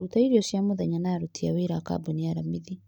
Ruta irio cia mũthenya na aruti a wĩra a kambuni alamithi.